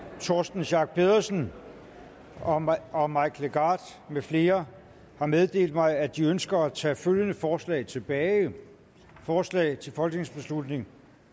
torsten schack pedersen og mike og mike legarth med flere har meddelt mig at de ønsker at tage følgende forslag tilbage forslag til folketingsbeslutning